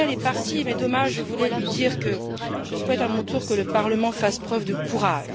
Kölmel soit parti, car je voulais lui dire que je souhaite à mon tour que le Parlement fasse preuve de courage.